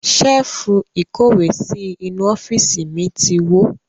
Ṣẹ́ẹ́fù ìkówèésí inú ọ́fíìsì mi ti wó.